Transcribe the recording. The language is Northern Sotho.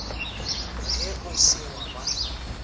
ge o se wa ba